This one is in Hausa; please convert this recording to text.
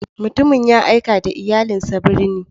Mutumin ya aika da iyalinsa birni.